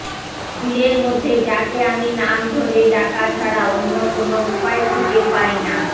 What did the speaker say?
ভিড়ের মধ্যে যাকে আমি নাম ধরে ডাকা ছাড়া অন্য কোনো উপায় খুঁজে পাই না